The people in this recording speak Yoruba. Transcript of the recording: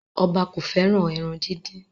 Oba ko feran eran didin